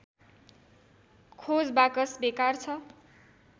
खोज बाकस बेकार छ